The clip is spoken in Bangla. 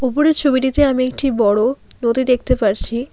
উপরের ছবিটিতে আমি একটি বড়ো নদী দেখতে পারছি।